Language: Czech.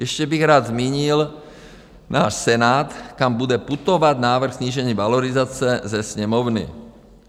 Ještě bych rád zmínil náš Senát, kam bude putovat návrh snížení valorizace ze Sněmovny.